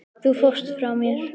Þú fórst frá mér.